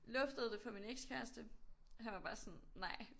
Luftede det for min ekskæreste han var bare sådan Nej